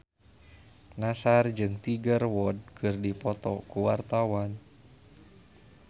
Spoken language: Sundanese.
Nassar jeung Tiger Wood keur dipoto ku wartawan